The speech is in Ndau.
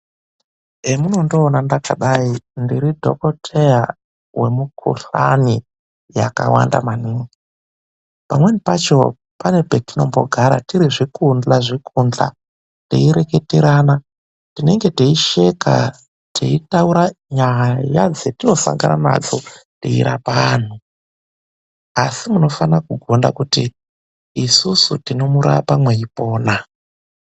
Emunondiona ndakadayi ,ndiri dhokodheya wemikhuhlani yakawanda maningi . Pamweni pacho, pane petinombogara tiri zvikudhla zvikudhla',teireketerana. Tinenge teisheka, teitaura nyaya dzetinosangana nadzo teirapa antu. Asi munofana kugonda kuti isusu tinomurapa mweipona.